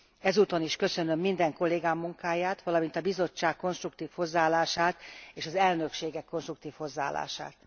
Ezúton is köszönöm minden kollégám munkáját, valamint a Bizottság konstruktív hozzáállását és az elnökségek konstruktív hozzáállását.